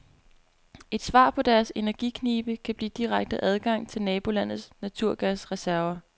Et svar på deres energiknibe kan blive direkte adgang til nabolandets naturgasreserver.